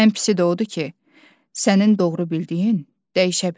Ən pisi də odur ki, sənin doğru bildiyin dəyişə bilər.